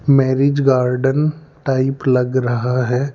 Marriage garden type लग रहा है।